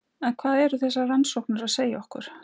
En hvað eru þessar rannsóknir að segja okkur?